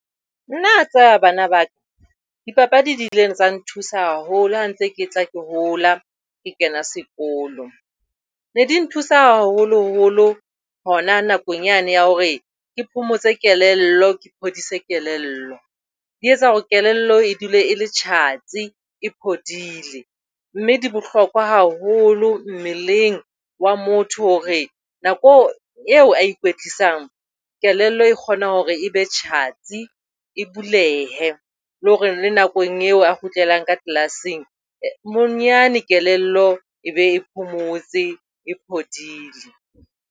Nna le a tseba bana ba ka, dipapadi di ile tsa nthusa haholo ha ntse ke tla ke hola, ke kena sekolo. Ne di nthusa haholoholo hona nakong yane ya hore ke phomotse kelello, ke phodise kelello. Di etsa hore kelello e dule e le tjhatsi e phodile mme di bohlokwa haholo mmeleng wa motho hore nako eo a e ikwetlisang kelello e kgona hore e be tjhatsi, e bulehe. Le hore nakong eo a kgutlelang ka class-ng bonyane kelello e be phomotse. E phodile.